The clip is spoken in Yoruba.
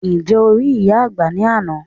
Ǹjẹ́ o rí ìyá àgbà ní àná?